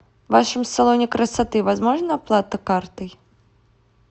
в вашем салоне красоты возможна оплата картой